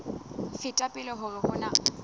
feta pele hore ho na